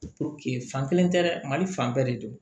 fan kelen tɛ dɛ mali fan bɛɛ de don